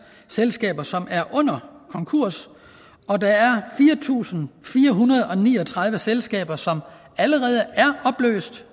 selskaber som er under konkurs og der er fire tusind fire hundrede og ni og tredive selskaber som allerede